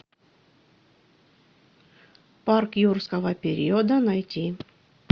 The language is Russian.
парк юрского периода найти